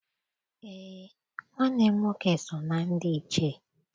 Eé, nwanne m nwoke so na ndị Ichie.